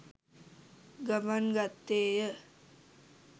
ගමන් ගත්තේය.